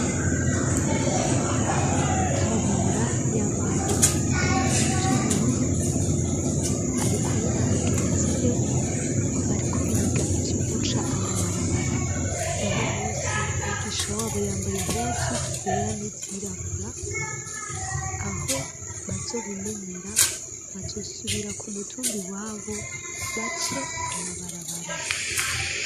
Kabura yambaye impuzu z'ubururu ari kumwe na bagenzi be bariko biga ivyo guca amabarabara uno munsi umwigisha wabo yambaye impuzu zera n'izirabura aho bazobimenyera bazosubira ku mutumbi wabo bace amabarabara.